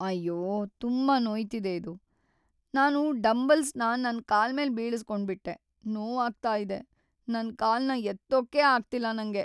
ಅಯ್ಯೋ! ತುಂಬಾ ನೋಯ್ತಿದೆ ಇದು. ನಾನು ಡಂಬಲ್ಸ್‌ನ ನನ್‌ ಕಾಲ್ಮೇಲ್ ಬೀಳಿಸ್ಕೊಂಡ್‌ಬಿಟ್ಟೆ.. ನೋವಾಗ್ತಾ ಇದೆ. ನನ್ ಕಾಲ್ನ ಎತ್ತೋಕೇ ಆಗ್ತಿಲ್ಲ ನಂಗೆ.